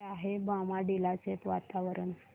कसे आहे बॉमडिला चे वातावरण